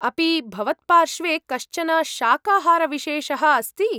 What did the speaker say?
अपि भवत्पार्श्वे कश्चन शाकाहारविशेषः अस्ति ?